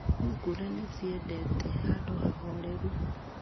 Thungura nĩ ciendete handũ hahoreru.